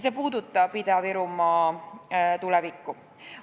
See puudutab Ida-Virumaa tulevikku.